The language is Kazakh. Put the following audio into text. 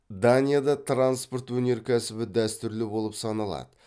данияда транспорт өнеркәсібі дәстүрлі болып саналады